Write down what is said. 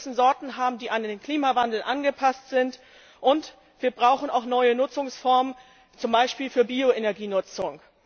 Wir müssen Sorten haben, die an den Klimawandel angepasst sind und wir brauchen auch neue Nutzungsformen, zum Beispiel für Bioenergienutzung.